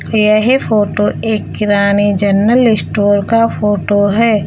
येह फोटो एक किराने जनरल स्टोर का फोटो है।